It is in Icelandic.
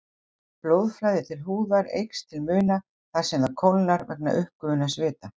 Blóðflæði til húðar eykst til muna þar sem það kólnar vegna uppgufunar svita.